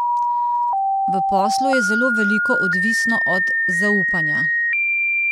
V poslu je zelo veliko odvisno od zaupanja.